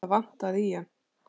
Það vantaði í hann.